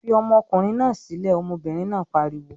"Fi ọmọkùnrin náà sílẹ̀!" Ọmọbìnrin náà pariwo.